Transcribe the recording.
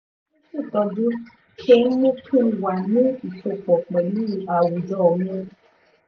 àjọ tó ń ṣètọrẹ ṣe ń mú kí n wà ní ìsopọ̀ pẹ̀lú àwùjọ mi